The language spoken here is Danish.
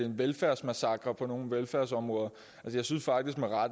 en velfærdsmassakre på nogle velfærdsområder men jeg synes